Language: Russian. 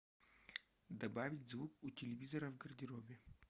добавить звук у телевизора в гардеробе